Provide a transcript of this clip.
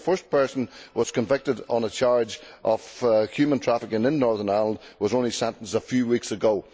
However, the first person who was convicted on a charge of human trafficking in Northern Ireland was only sentenced a few weeks ago.